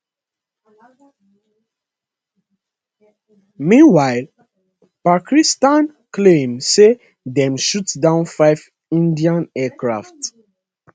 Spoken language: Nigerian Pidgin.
meanwhile pakistan claim say dem shoot down five indian aircraft